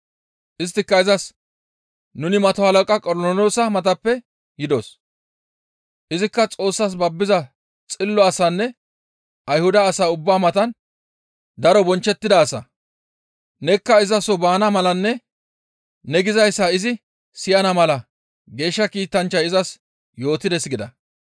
Isttika izas, «Nuni mato halaqa Qornoloosa matappe yidos; izikka Xoossas babbiza xillo asanne Ayhuda asa ubbaa matan daro bonchchettida asa; nekka iza soo baana malanne ne gizayssa izi siyana mala geeshsha kiitanchchay izas yootides» gida.